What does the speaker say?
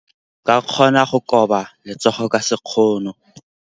O ka kgona go koba letsogo ka sekgono.